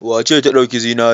Wace ce ta ɗauki zinare?